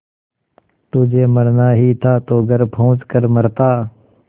तुझे मरना ही था तो घर पहुँच कर मरता